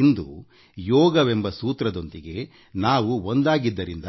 ಇಂದು ಯೋಗವೆಂಬ ಸೂತ್ರದೊಂದಿಗೆ ನಾವು ಒಂದಾಗಿದ್ದರಿಂದ